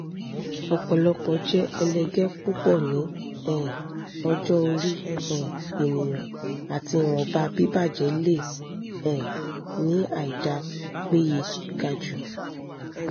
ọpọlọ jẹ ẹlẹgẹ pupọ ni um ọjọ ori um eniyan; ati ìwọnba bibajẹ le um ni àìdá péye gaju